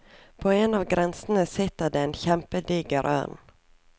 På en av grenene sitter det en kjempediger ørn.